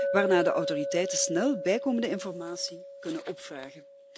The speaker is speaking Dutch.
waarna de autoriteiten snel bijkomende informatie kunnen opvragen.